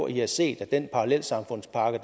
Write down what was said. i har set at den parallelsamfundspakke